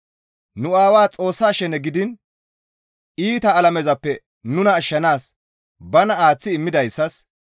Nu Aawaa Xoossaa shene gidiin iita alamezappe nuna ashshanaas bana aaththi immidayssas,